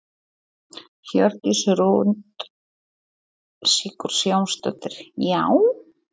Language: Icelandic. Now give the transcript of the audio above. Hjördís Rut Sigurjónsdóttir: Já?